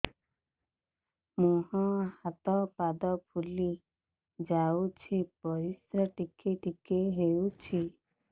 ମୁହଁ ହାତ ପାଦ ଫୁଲି ଯାଉଛି ପରିସ୍ରା ଟିକେ ଟିକେ ହଉଛି